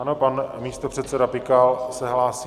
Ano, pan místopředseda Pikal se hlásí.